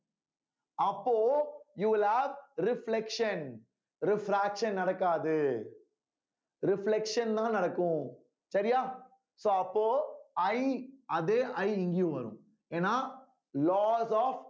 அப்போ you will have reflection refraction நடக்காது reflection தான் நடக்கும் சரியா so அப்போ I அதே I இங்கயும் வரும் ஏன்னா laws of